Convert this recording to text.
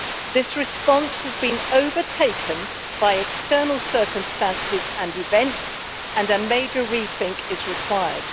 This response has been overtaken by external circumstances and events, and a major rethink is required.